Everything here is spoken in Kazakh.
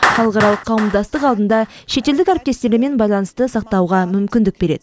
халықаралық қауымдастық алдында шетелдік әріптестермен байланысты сақтауға мүмкіндік береді